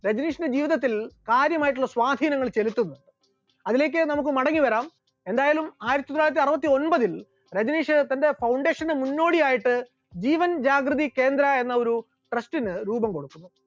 രജനീഷിന്റെ ജീവിതത്തിൽ കാര്യമായിട്ടുള്ള സ്വാധീനങ്ങൾ ചെലുത്തുന്നു, അതിലേക്ക് നമുക്ക് മടങ്ങിവരാം, എന്തായാലും ആയിരത്തിത്തൊള്ളായിരത്തി അറുപത്തി ഒന്പതിൽ രജനീഷ് തന്റെ foundation ന്റെ മുന്നോടിയായിട്ട് ജീവൻ ജാഗ്രതി കേന്ദ്ര എന്നൊരു trust ന് രൂപം കൊടുക്കുന്നു.